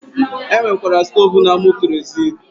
E nwekwara stoovu na-amụ kerozin